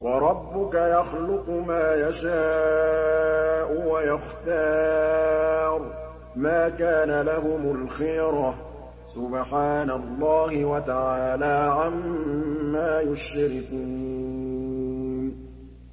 وَرَبُّكَ يَخْلُقُ مَا يَشَاءُ وَيَخْتَارُ ۗ مَا كَانَ لَهُمُ الْخِيَرَةُ ۚ سُبْحَانَ اللَّهِ وَتَعَالَىٰ عَمَّا يُشْرِكُونَ